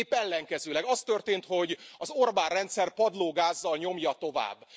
Épp ellenkezőleg az történt, hogy az Orbán rendszer padlógázzal nyomja tovább.